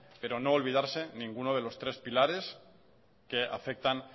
pero no olvidarse ninguno de los tres pilares que afectan